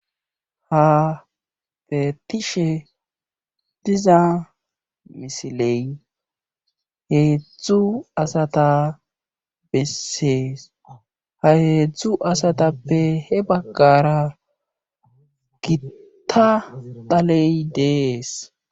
Ha feetishe diza misiley heedzdzu asata bessees ha heedzdzu asatappe he baggara gitta taley dees.